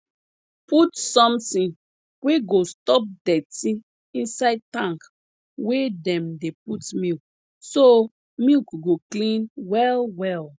put sometin wey go stop dirty inside tank wey dem dey put milk so milk go clean well well